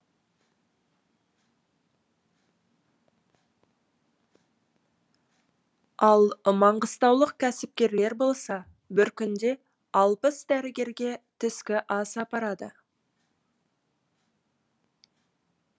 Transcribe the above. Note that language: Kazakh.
ал маңғыстаулық кәсіпкерлер болса бір күнде алпыс дәрігерге түскі ас апарды